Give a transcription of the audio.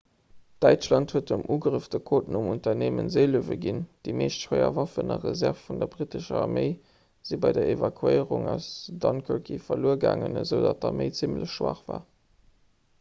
däitschland huet dem ugrëff de codenumm 'unternehmen seelöwe' ginn. déi meescht schwéier waffen a reserve vun der brittescher arméi si bei der evakuéierung aus dunkerke verluer gaangen esoudatt d'arméi zimmlech schwaach war